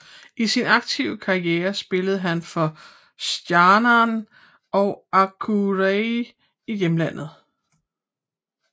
I sin aktive karriere spillede han for Stjarnan og Akureyri i hjemlandet